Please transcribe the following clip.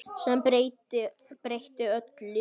Sem breytti öllu.